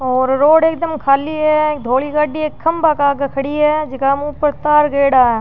और रोड एकदम खाली है धोली गाड़ी है खम्बा के आगे खड़ी है जका में ऊपर तार गियोडा हा।